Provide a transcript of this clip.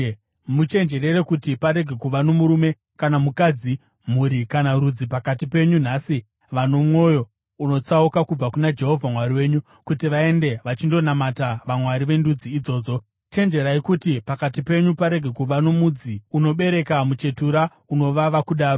Muchenjerere kuti parege kuva nomurume kana mukadzi, mhuri kana rudzi pakati penyu nhasi vano mwoyo unotsauka kubva kuna Jehovha Mwari wenyu kuti vaende vachindonamata vamwari vendudzi idzodzo; chenjererai kuti pakati penyu parege kuva nomudzi unobereka muchetura unovava kudaro.